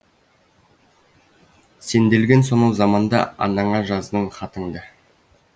сенделген сонау заманда анаңа жаздың хатыңды